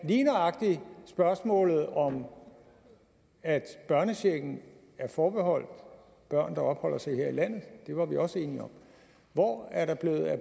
lige nøjagtig spørgsmålet om at børnechecken er forbeholdt børn der opholder sig her i landet det var vi også enige om hvor er der blevet af